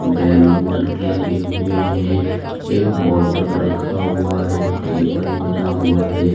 Balloon लगे हुए हैं। एक बॉटल रखा हुआ है। टेबल बना हुआ है।